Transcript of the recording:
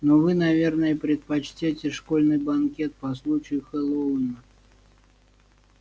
но вы наверное предпочтёте школьный банкет по случаю хэллоуина